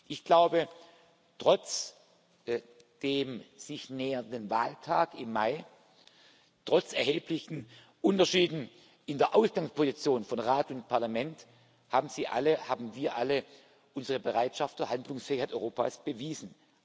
Ich glaube, trotz des sich nähernden Wahltags im Mai, trotz erheblicher Unterschiede in der Ausgangsposition von Rat und Parlament haben Sie alle, haben wir alle unsere Bereitschaft zur Handlungsfähigkeit Europas bewiesen.